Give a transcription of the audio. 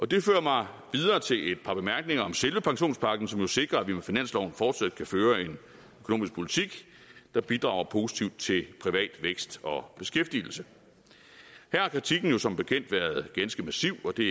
det fører mig videre til et par bemærkninger om selve pensionspakken som jo sikrer at vi med finansloven fortsat kan føre en økonomisk politik der bidrager positivt til privat vækst og beskæftigelse her har kritikken jo som bekendt været ganske massiv og det